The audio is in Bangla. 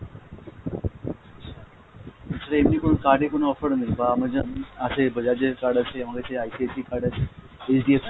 আচ্ছা, এ ছাড়া এমনি কোনো card এ কোনো offer নেই? বা আমার যেমন আছে Bajaj এর card আছে, আমার কাছে ICIC র card আছে, HDFC